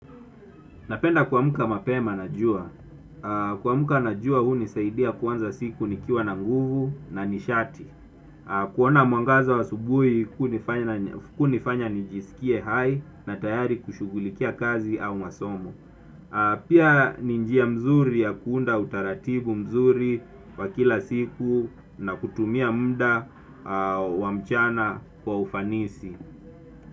Napenda kuamka mapema na jua. Kumka na jua hunisaidia kuanza siku nikiwa na nguvu na nishati. Kuona mwangaza wa asubuhi hunifanya nijisikie hai na tayari kushughulikia kazi au masomo. Pia ni njia mzuri ya kuunda utaratibu mzuri wa kila siku na kutumia muda wa mchana kwa ufanisi.